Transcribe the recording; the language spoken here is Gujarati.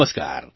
નમસ્કાર